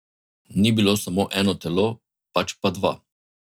Ni bilo samo eno telo, pač pa dva.